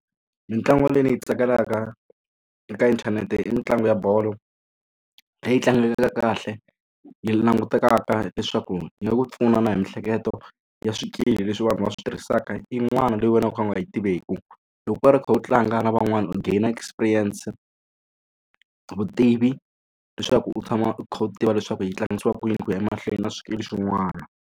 Mitlangu leyi ni yi tsakelaka eka inthanete i mitlangu ya bolo leyi tlangekaka kahle yi langutekaka leswaku yi nga ku pfuna na hi miehleketo ya swikili leswi vanhu va switirhisaka yin'wana leyi wena u kha u nga yi tiveki. Loko u karhi u kha u tlanga na van'wana u gainer experience vutivi leswaku u tshama u kha u tiva leswaku yi tlangisiwa ku yini ku ya emahlweni na swikili swin'wana.